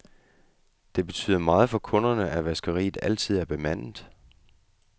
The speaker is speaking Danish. Det betyder meget for kunderne, at vaskeriet altid er bemandet.